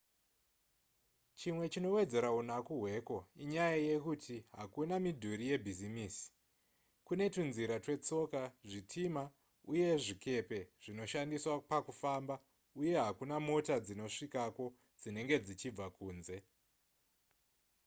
chimwe chinowedzera unaku hweko inyaya yekuti hakuna midhuri yebhizimisi kune tunzira twetsoka zvitima uye zvikepe zvinoshandiswa pakufamba uye hakuna mota dzinosvikako dzinenge dzichibva kunze